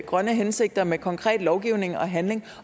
grønne hensigter med konkret lovgivning og handling